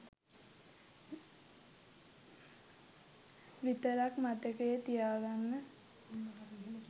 විතරක් මතකයේ තියාගන්න.